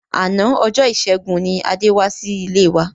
Àná ọjọ́ ìṣẹ́gun ni Adé wá sí ilé wa.